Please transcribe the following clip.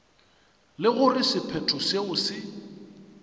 le gore sephetho seo se